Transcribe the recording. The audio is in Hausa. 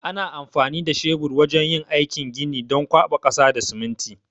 Ana aiki da shebur wajan yin aikin gini don kwaɓa ƙasa da siminti